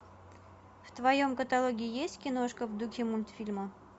в твоем каталоге есть киношка в духе мультфильма